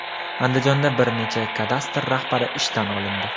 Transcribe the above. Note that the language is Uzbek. Andijonda bir necha kadastr rahbari ishdan olindi.